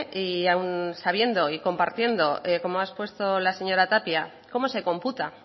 y aun sabiendo y compartiendo como ha expuesto la señora tapia cómo se computa